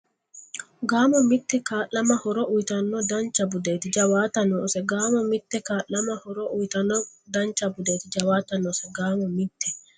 Gaamo mite Kaa’lama horo uyitanno ;dancha budeeti; jawaata noose Gaamo mite Kaa’lama horo uyitanno ;dancha budeeti; jawaata noose Gaamo mite.